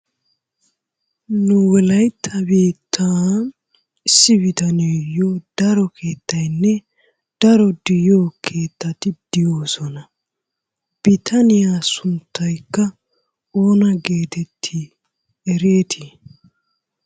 Nu wolaytta biittan issi bitaniyayyo daro keettaynne daro de'iyo keettati de'oosona. Bitaniya sunttaykka oona getettii ereetii?